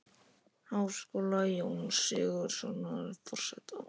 Háskóla, Jóns Sigurðssonar, forseta.